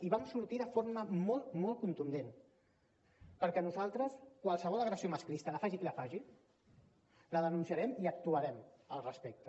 i vam sortir de forma molt molt contundent perquè nosaltres qualsevol agressió masclista la faci qui la faci la denunciarem i actuarem al respecte